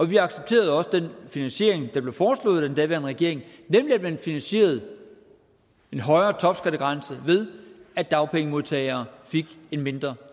vi accepterede også den finansiering der blev foreslået af den daværende regering nemlig at man finansierede en højere topskattegrænse ved at dagpengemodtagere fik en mindre